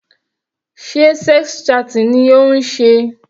Sé sex chatting ni ó ń ṣe?